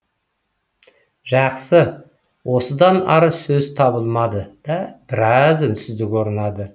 жақсы осыдан ары сөз табылмады да біраз үнсіздік орнады